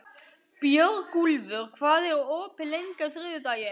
Björgúlfur, hvað er opið lengi á þriðjudaginn?